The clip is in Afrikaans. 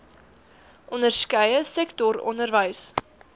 onderskeie sektor onderwys